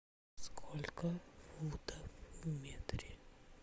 сколько футов в метре